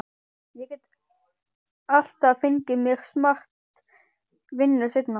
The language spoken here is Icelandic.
Ég get alltaf fengið mér smart vinnu seinna.